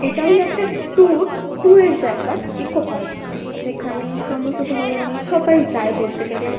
এটা হলো একটা টুর টুর -এর জায়গা ইকো পার্ক । যেখানে সমস্ত ধরনের সবাই যায় বলতে গেলে।